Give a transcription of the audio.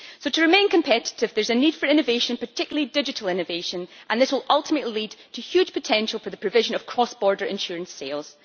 So to remain competitive, there is a need for innovation particularly digital innovation and this will ultimately lead to huge potential for the provision of cross border insurance sales.